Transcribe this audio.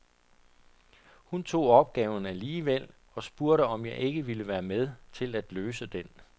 Hun tog opgaven alligevel og spurgte, om jeg ikke ville være med til at løse den.